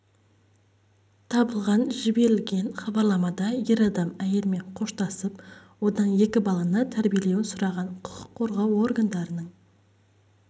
табылған жіберілген хабарламада ер адам әйелімен қоштасып одан екі баланы тәрбиелеуін сұраған құқық қорғау органдарының